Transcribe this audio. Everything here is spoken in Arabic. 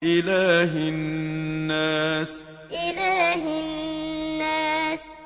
إِلَٰهِ النَّاسِ إِلَٰهِ النَّاسِ